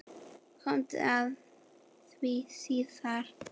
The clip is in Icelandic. Komum að því síðar.